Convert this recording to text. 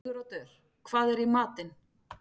Siguroddur, hvað er í matinn?